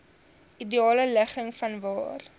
ideale ligging vanwaar